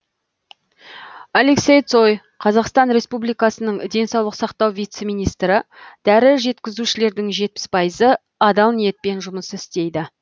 алексей цой қазақстан республикасының денсаулық сақтау вице министрі дәрі жеткізушілердің жетпіс пайызы адал ниетпен жұмыс істейді